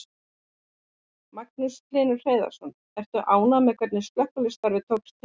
Magnús Hlynur Hreiðarsson: Ertu ánægður með hvernig slökkvistarf tókst til?